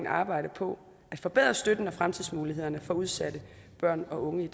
arbejde på at forbedre støtten og fremtidsmulighederne for udsatte børn og unge